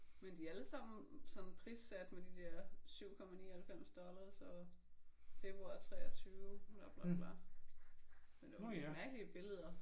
Men de er alle sammen sådan prissat med de der 7,99 dollars og februar 23 bla bla bla men det er nogle mærkelige billeder